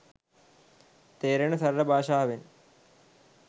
තේරෙන සරල භාෂාවෙන්.